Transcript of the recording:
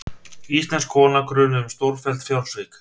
Íslensk kona grunuð um stórfelld fjársvik